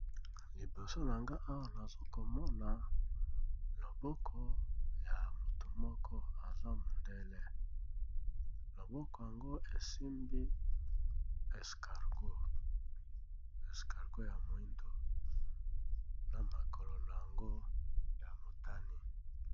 LIboso na nga owa nazokomona loboko ya mutu moko aza mondele, loboko yango esimbi escargo ya moindo na makolo no yango ya motani.